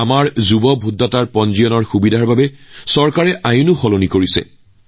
আমাৰ যুৱ ভোটাৰসকলে যাতে পঞ্জীয়নৰ বাবে অধিক সুযোগ লাভ কৰিব পাৰে তাৰ বাবে চৰকাৰেও আইনৰ সালসলনি কৰিছে